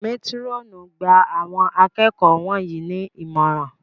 Métírọ̀nù! Gba Àwọn akẹ́kọ̀ọ́ wọ̀nyí ní ìmọ̀ràn!